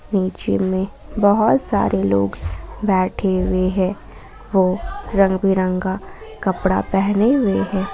नीचे में बहुत सारे लोग बैठे हुए हैं वो रंग बिरंगा कपड़ा पहने हुए हैं।